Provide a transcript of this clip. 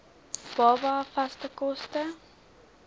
baba vaste kos